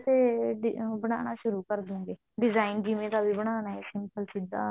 ਤੇ ਉਹ ਬਣਾਉਣਾ ਸ਼ੁਰੂ ਕਰ ਦਵਾਂਗੇ design ਜਿਦਾਂ ਦਾ ਵੀ ਬਣਾਉਣਾ ਹੈ simple ਸਿੱਧਾ